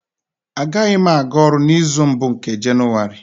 Agaghị m aga ọrụ n'izu mbụ nke Jenụwarị